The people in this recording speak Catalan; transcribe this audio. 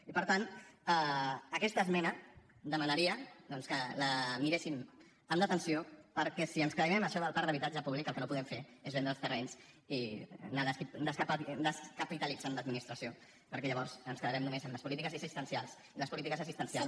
i per tant aquesta esmena demanaria doncs que la miressin amb detenció perquè si ens creiem això del parc d’habitatge públic el que no podem fer és vendre els terrenys i anar descapitalitzant l’administració perquè llavors ens quedarem només amb les polítiques assistencials i les polítiques assistencials